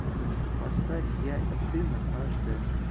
поставь я и ты на аш дэ